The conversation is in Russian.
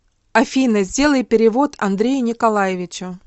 афина сделай перевод андрею николаевичу